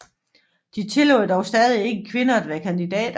De tillod dog stadig ikke kvinder at være kandidater